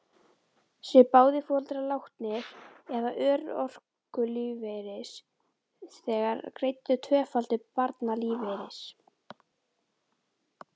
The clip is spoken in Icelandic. Séu báðir foreldrar látnir eða örorkulífeyrisþegar, er greiddur tvöfaldur barnalífeyrir.